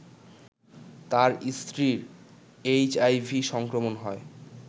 তার স্ত্রীর এইচআইভি সংক্রমণ হয়